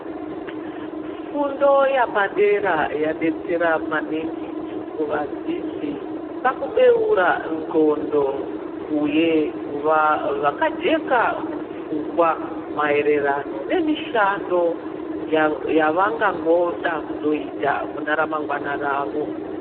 Fundo yapadera yadetsera maningi kuvadzidzi pakubeura ndxondo uye kuva vakajeka mupfungwa maererano nemishando yava yavangangida kuzoita mune ramangwana ravo.